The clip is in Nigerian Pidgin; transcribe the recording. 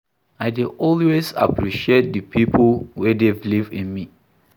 I dey always appreciate di pipo wey dey believe in me.